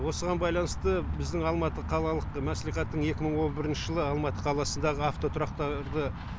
осыған байланысты біздің алматы қалалық мәслихаттың екі мың он бірінші жылғы алматы қаласындағы автотұрақтарды